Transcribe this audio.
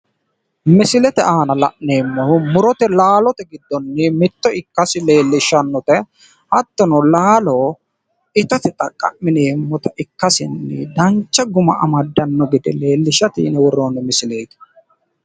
Misilete aana la'neemmoti tini muronna laalote tini roore anga ittate horonsi'neemmo muronna laaloti